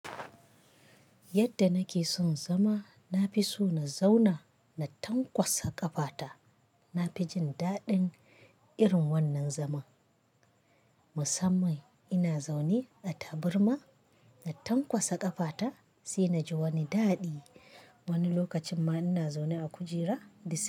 Yadda nake son zama, na fi so na zauna na tanƙwasa ƙafata. Na fi jin daɗin irin wannan zaman. Musamman ina zaune a tabarma na tanƙwasa ƙafata sai na ji wani daɗi. Wani lokacin ma ina zaune a kujera dis.